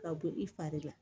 Ka bɔ i fari la